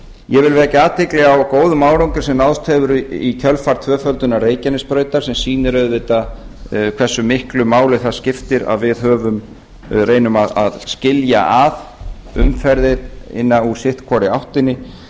ég vil vekja athygli á góðum árangri sem náðst hefur í kjölfar tvöföldunar reykjanesbrautar sem sýnir auðvitað hversu miklu máli það skiptir að við reynum að skilja að umferðina úr sitt hvorri áttina